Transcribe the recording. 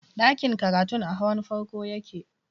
Ɗakin karatun a hawan farko yake